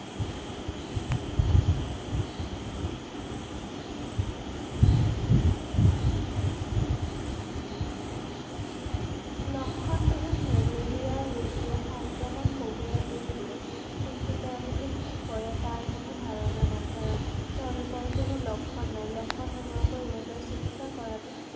লক্ষণবিহীন malaria ৰোগীয়ে সংক্ৰমণ কঢ়িয়াই লৈ ফুৰে ৷ কিন্তু তেওঁলোকে কি কৰে তাৰ কোনো ধাৰণা নাই ৷ কাৰণ তেওঁলোকৰ কোনো লক্ষণ নাই ৷ লক্ষণ নোহোৱাকৈ ইহঁতৰ চিকিৎসা কৰাতো